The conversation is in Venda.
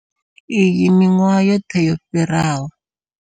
Iyi miṅwahani yoṱhe yo fhiraho.